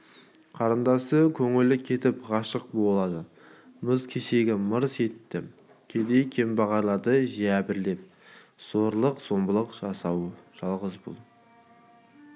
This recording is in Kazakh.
қарындасы көңілі кетіп ғашық болады мыс шеге мырс етті кедей-кембағалды жәбірлеп зорлық-зомбылық жасауы жалғыз бұл